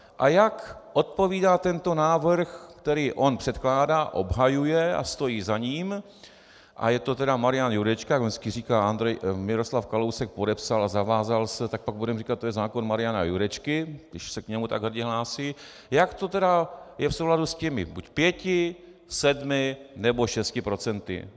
A jak odpovídá tento návrh, který on předkládá, obhajuje a stojí za ním - a je to tedy Marian Jurečka, jak vždycky říká: Miroslav Kalousek podepsal a zavázal se, tak pak budeme říkat: to je zákon Mariana Jurečky, když se k němu tak hrdě hlásí - jak to tedy je v souladu s těmi buď pěti, sedmi nebo šesti procenty?